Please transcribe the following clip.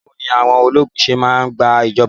Báwo ni àwọn ológun ṣé máa ń gba ìjọba?